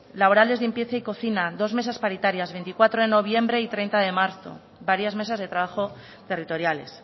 laborales limpieza y cocina dos mesas paritarias veinticuatro de noviembre y treinta de marzo varias mesas de trabajo territoriales